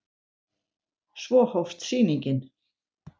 Svo hófst sýningin.